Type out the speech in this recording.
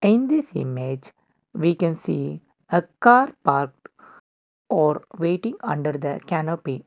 in this image we can see a car parked or waiting under the canopy.